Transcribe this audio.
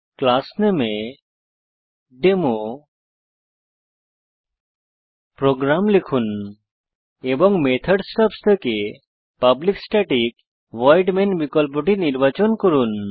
class নামে এ demo program লিখুন এবং মেথড স্টাবস থেকে পাবলিক স্ট্যাটিক ভয়েড মেইন বিকল্পটি নির্বাচন করুন